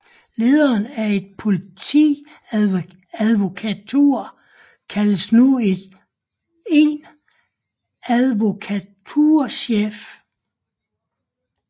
Lederen af en politiadvokatur kaldes nu en advokaturchef